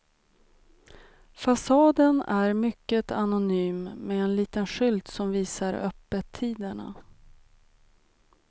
Fasaden är mycket anonym med en liten skylt som visar öppettiderna.